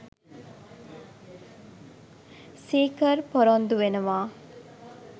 සීකර් පොරොන්දු වෙනවා